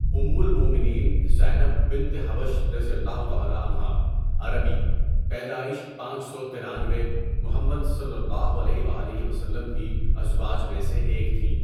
ام المؤمنین زینب بنت جحش رَضی اللہُ تعالیٰ عنہا عربی ، پیدائش پانچ سو ترانوے محمد صلی اللہ علیہ و آلہ وسلم کی ازواج میں سے ایک تھیں.